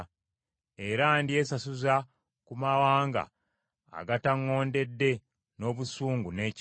Era ndyesasuza ku mawanga agataŋŋondedde n’obusungu n’ekiruyi.”